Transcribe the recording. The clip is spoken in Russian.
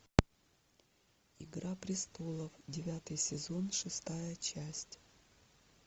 игра престолов девятый сезон шестая часть